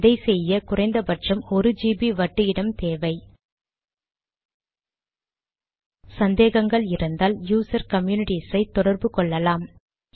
இதை செய்ய குறைந்த பட்சம் 1ஜிபி வட்டு இடம் தேவை சந்தேகங்கள் இருந்தால் யூசர் கம்யூனிட்டீஸ் களை தொடர்பு கொள்ளலாம்